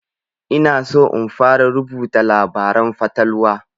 Ina so in fara rubuta labaren fatalwa